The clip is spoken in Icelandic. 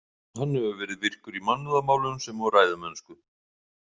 Hann hefur verið virkur í mannúðarmálum sem og ræðumennsku.